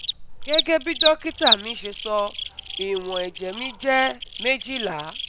Gẹ́gẹ́ bí dókítà mi ṣe sọ, ìwọ̀n ẹ̀jẹ̀ mi jẹ́ twelve